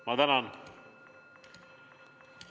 Ma tänan!